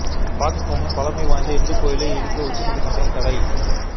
பாகிஸ்தானில் பழமை வாய்ந்த இந்துக் கோயிலை இடிக்க உச்ச நீதிமன்றம் தடை